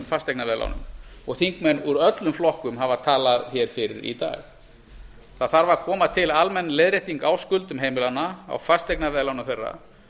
fasteignaveðlánum og þingmenn úr öllum flokkum hafa talað hér fyrir í dag það þarf að koma til almenn leiðrétting á skuldum heimilanna á fasteignaveðlánum þeirra